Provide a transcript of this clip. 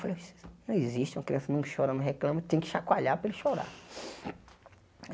Falei, não existe uma criança não chora, não reclama, tem que chacoalhar para ele chorar.